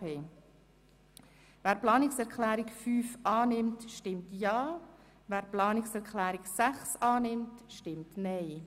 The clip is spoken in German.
Wer die Planungserklärung 5 annimmt, stimmt Ja, wer die Planungserklärung 6 annimmt, stimmt Nein.